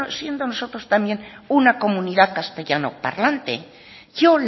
siendo nosotros también una comunidad castellanoparlante yo